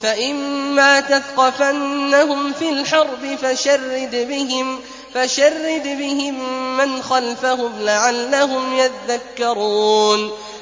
فَإِمَّا تَثْقَفَنَّهُمْ فِي الْحَرْبِ فَشَرِّدْ بِهِم مَّنْ خَلْفَهُمْ لَعَلَّهُمْ يَذَّكَّرُونَ